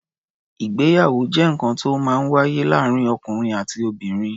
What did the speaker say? Ìgbéyàwó jẹ́ nǹkan to ó máa ń wáyé láàárín ọ̀kùnrin àti obìnrin.